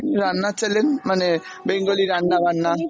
রান্নার channel, মানে Bengali রান্না-বান্না ।